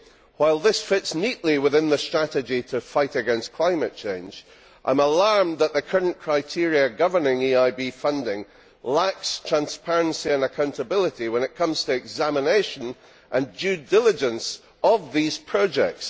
While this fits neatly within the strategy to fight climate change, I am alarmed that the current criteria governing EIB funding lack transparency and accountability when it comes to the examination and due diligence of these projects.